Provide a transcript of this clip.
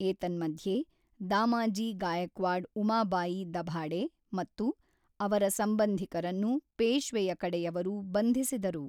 ಏತನ್ಮಧ್ಯೆ ದಾಮಾಜಿ ಗಾಯಕ್ವಾಡ್ ಉಮಾಬಾಯಿ ದಭಾಡೆ ಮತ್ತು ಅವರ ಸಂಬಂಧಿಕರನ್ನು ಪೇಶ್ವೆಯ ಕಡೆಯವರು ಬಂಧಿಸಿದರು